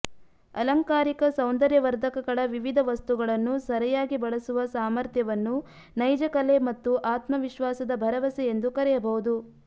ಅಲಂಕಾರಿಕ ಸೌಂದರ್ಯವರ್ಧಕಗಳ ವಿವಿಧ ವಸ್ತುಗಳನ್ನು ಸರಿಯಾಗಿ ಬಳಸುವ ಸಾಮರ್ಥ್ಯವನ್ನು ನೈಜ ಕಲೆ ಮತ್ತು ಆತ್ಮ ವಿಶ್ವಾಸದ ಭರವಸೆ ಎಂದು ಕರೆಯಬಹುದು